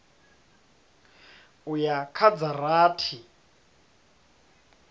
u ya kha dza rathi